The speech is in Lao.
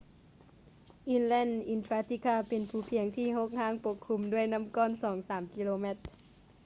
inland antarctica ເປັນພູພຽງທີ່ຮົກຮ້າງປົກຄຸມດ້ວຍນໍ້າກ້ອນ 2-3 ກິໂລແມັດ